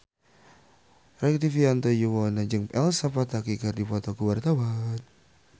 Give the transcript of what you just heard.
Rektivianto Yoewono jeung Elsa Pataky keur dipoto ku wartawan